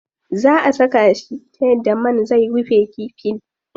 Zaa a saka shi ta yadda man zai rufe kifin.